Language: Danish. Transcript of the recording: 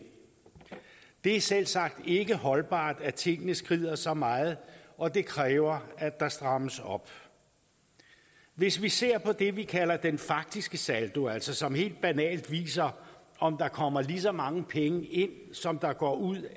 det er selvsagt ikke holdbart at tingene skrider så meget og det kræver at der strammes op hvis vi ser på det vi kalder den faktiske saldo som altså helt banalt viser om der kommer lige så mange penge ind som der går ud